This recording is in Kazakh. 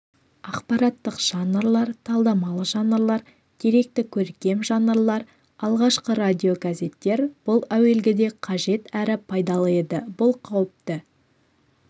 ақпараттық жанрлар талдамалы жанрлар деректі-көркем жанрлар алғашқы радиогазеттер бұл әуелгіде қажет әрі пайдалы еді бұл қауіпті